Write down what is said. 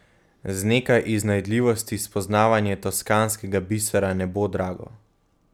Z nekaj iznajdljivosti spoznavanje toskanskega bisera ne bo drago.